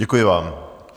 Děkuji vám.